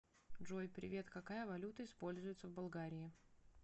джой привет какая валюта используется в болгарии